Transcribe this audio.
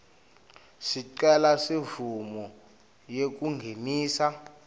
sicelo semvumo yekungenisa